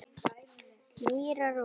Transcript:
Mýrar og mór